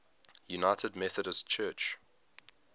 united methodist church